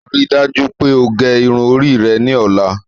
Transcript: Ríì dájú pé o gé irun orí rẹ̀ ni ọla!